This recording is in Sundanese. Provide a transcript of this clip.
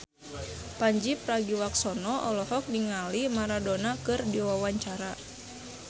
Pandji Pragiwaksono olohok ningali Maradona keur diwawancara